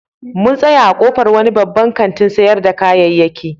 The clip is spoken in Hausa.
Mun tsaya a ƙofar wani babban kantin sayar da kayayyaki.